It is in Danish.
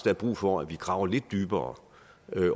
er brug for at vi graver lidt dybere